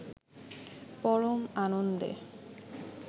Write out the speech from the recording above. পরম আনন্দে